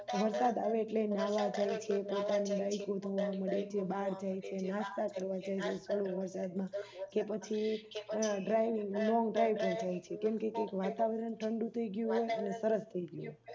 વરસાદ આવે એટલે એ નાવા જાય છે બાર જાય છે નાસ્તા કરવા જાય છે ચાલુ વરસાદ માં કે પછી Longdrive પર જાય છે કેમકે કઈક વાતાવરણ ઠંડું થઈ ગયું હોય અને સરસ થઈ ગયું હોય